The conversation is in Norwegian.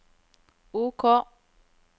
OK